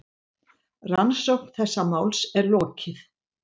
Rannsókn þessa máls er lokið.